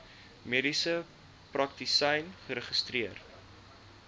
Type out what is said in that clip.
mediese praktisyn geregistreer